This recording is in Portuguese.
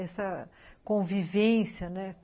Essa convivência, né?